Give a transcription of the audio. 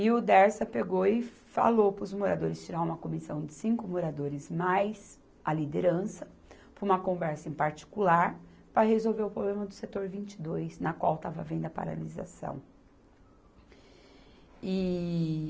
E o Dersa pegou e falou para os moradores tirar uma comissão de cinco moradores mais, a liderança, para uma conversa em particular para resolver o problema do setor vinte e dois, na qual estava havendo a paralisação. E